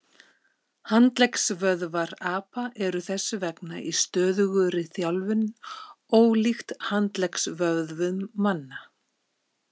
Handleggvöðvar apa eru þess vegna í stöðugri þjálfun, ólíkt handleggsvöðum manna.